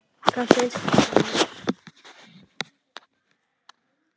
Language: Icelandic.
Hvað finnst þér, vinur?